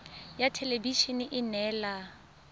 ya thelebi ene e neela